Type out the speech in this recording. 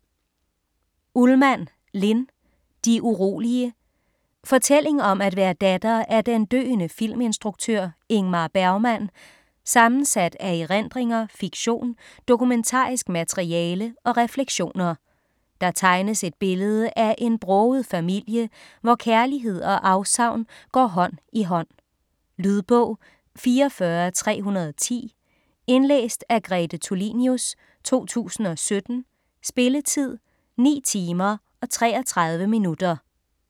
Ullmann, Linn: De urolige Fortælling om at være datter af den døende filminstruktør Ingmar Bergmann, sammensat af erindringer, fiktion, dokumentarisk materiale og refleksioner. Der tegnes et billede af en broget familie, hvor kærlighed og afsavn går hånd i hånd. Lydbog 44310 Indlæst af Grete Tulinius, 2017. Spilletid: 9 timer, 33 minutter.